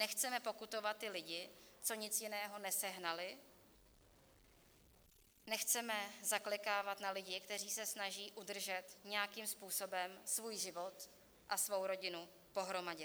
Nechceme pokutovat ty lidi, co nic jiného nesehnali, nechceme zaklekávat na lidi, kteří se snaží udržet nějakým způsobem svůj život a svou rodinu pohromadě.